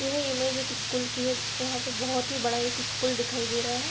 यह इमेज एक स्कूल की है। यहाँ पे बोहोत ही बड़ा एक स्कूल दिखाई दे रहा है।